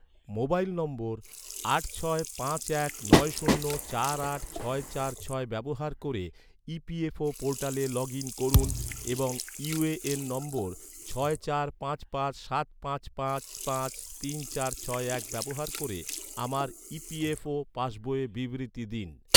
mobile নম্বর আট ছয় পাঁচ এক নয় শূন্য চার আট ছয় চার ছয় ব্যবহার ক’রে, ই.পি.এফ.ও ​​পোর্টালে লগ ইন করুন এবং ইউ.এ.এন নম্বর ছয় চার পাঁচ পাঁচ পাঁচ তিন চার ছয় এক ব্যবহার ক’রে, আমার ই.পি.এফ.ও ​​পাসবইয়ের বিবৃতি দিন